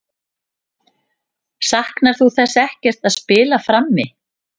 Saknar hún þess ekkert að spila frammi?